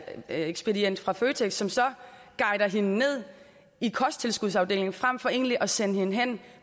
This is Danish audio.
ekspedient fra føtex som så guider hende ned i kosttilskudsafdelingen frem for egentlig at sende hende hen